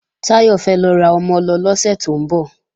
Táyọ̀ fẹ́ lọ ra ọmọ-ọlọ lọ́sẹ̀ tó ń bọ̀